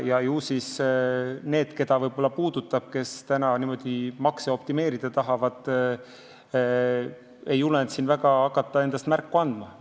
Ju siis need, keda see võib-olla puudutab, kes niimoodi makse optimeerida tahavad, ei julgenud hakata endast märku andma.